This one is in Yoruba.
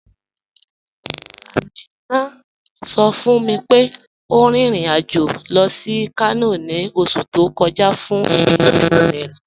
Aminà sọ̀ fún mi pé ó rìn ìrìn-àjọ̀ lọ sí Kànò ni ọ̀ṣù tó kọja fún ìgbéyàwó ọ̀rẹ̀ rẹ.